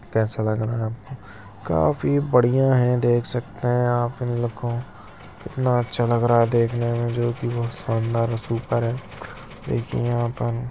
कैसा लग रहा है आपको काफी बढ़िया है देख सकते हैं आप इन लोग को कितना अच्छा लग रहा है देखने में जो की बहुत शानदार और सुपर है एक यहां पर--